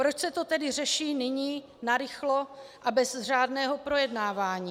Proč se to tedy řeší nyní, narychlo a bez řádného projednávání?